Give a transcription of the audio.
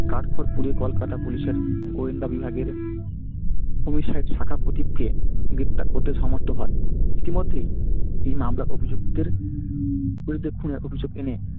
কাঠ খড় পুড়িয়ে কলকাতা police এর গোয়েন্দা বিভাগের সাহেব গ্রেফতার করতে সামর্থ হয়। এই মামলা অভিযুক্তের বিরুদ্ধে খুনের অভিযোগ এনে